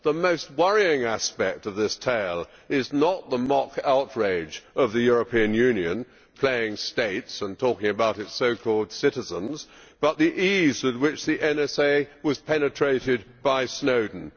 The most worrying aspect of this tale is not the mock outrage of the European Union playing states and talking about its so called citizens', but the ease with which the NSA was penetrated by Snowden.